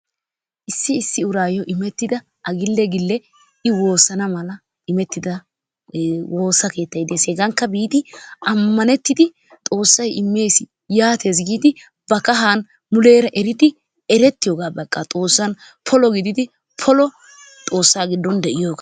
Issi issi urayo immeettida A gille gille I woossana mala immettida woosa keettay dees. Hegankka biidi amanerridi Xoossay immees yaattees giidi ba kahan muleera eridi erettiyooga baqqa muleera polo gididi polo Xoossa giddon de'iyoogaa.